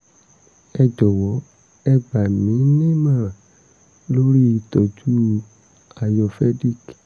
ẹ jọwọ ẹ gbà mí ní ìmọ̀ràn lórí ìtọ́jú ayurvedic